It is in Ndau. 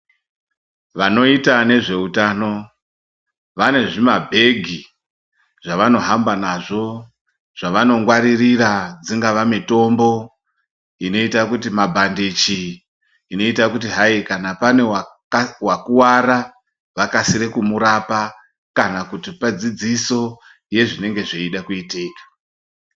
Vanoita nezveutano, vane zvimabhegi zvavanohamba nazvo ,zvavanongwaririra dzingava mitombo, inoita kuti mabhandichi ,inoita kuti hayi kana pane waka wakuwara, vakasire kumurapa, kana kuti kupe dzidziso yezvinenge zveide kuitika.